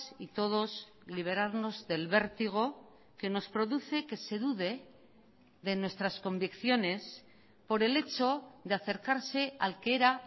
y todos liberarnos del vértigo que nos produce que se dude de nuestras convicciones por el hecho de acercarse al que era